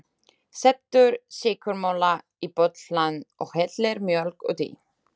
Setur sykurmola í bollann og hellir mjólk út í.